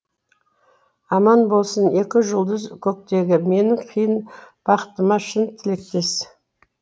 аман болсын екі жұлдыз көктегі менің қиын бақытыма шын тілектес